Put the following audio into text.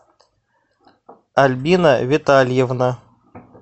альбина витальевна